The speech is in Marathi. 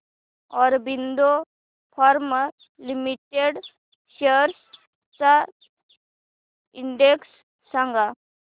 ऑरबिंदो फार्मा लिमिटेड शेअर्स चा इंडेक्स सांगा